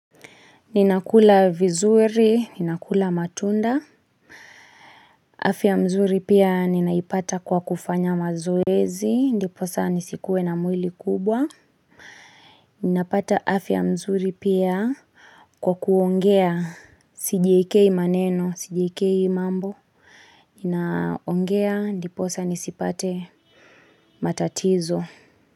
Ninakula vizuri, ninakula matunda afya mzuri pia ninaipata kwa kufanya mazoezi ndiposa nisikuwe na mwili kubwa Ninapata afya nzuri pia kwa kuongea sijiekei maneno, sijiekei mambo, ninaongea ndiposa nisipate matatizo.